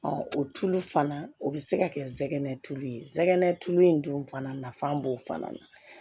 o tulu fana o bɛ se ka kɛ sɛgɛn tulu ye tulu in dun fana nafa b'o fana na